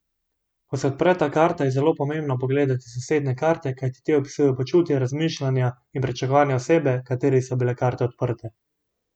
Ko se odpre ta karta, je zelo pomembno pogledati sosednje karte, kajti te opisujejo počutje, razmišljanja in pričakovanja osebe, kateri so bile karte odprte.